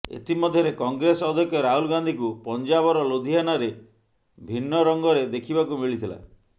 ଏଥିମଧ୍ୟରେ କଂଗ୍ରେସ ଅଧ୍ୟକ୍ଷ ରାହୁଲ ଗାନ୍ଧୀଙ୍କୁ ପଞ୍ଜାବର ଲୁଧିୟାନାରେ ଭିନ୍ନ ରଙ୍ଗରେ ଦେଖିବାକୁ ମିଳିଥିଲା